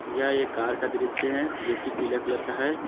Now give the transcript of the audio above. यह एक कार का दृश्य है जोकि पीला कलर का है।